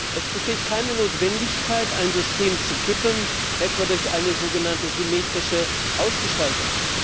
Es besteht keine Notwendigkeit, ein System zu kippen, etwa durch eine sogenannte symmetrische Ausgestaltung.